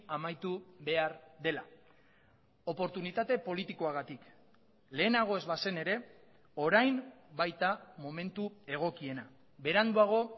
amaitu behar dela oportunitate politikoagatik lehenago ez bazen ere orain baita momentu egokiena beranduago